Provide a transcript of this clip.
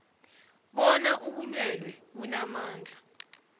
bona ubulwelwe bunamandla